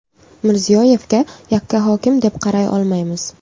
Mirziyoyevga yakkahokim deb qaray olmaymiz.